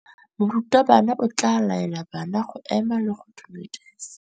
Morutabana o tla laela bana go ema le go go dumedisa.